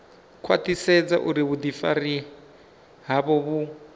khwaṱhisedza uri vhuḓifari havho vhu